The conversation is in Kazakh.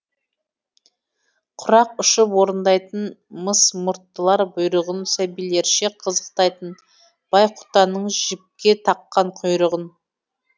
құрақ ұшып орындайтын мыс мұрттылар бұйрығын сәбилерше қызықтайтын байқұтанның жіпке таққан құйрығын